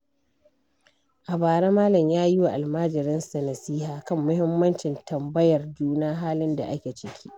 A bara, Malam ya yi wa almajiransa nasiha kan muhimmancin tambayar juna halin da ake ciki.